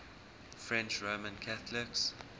french roman catholics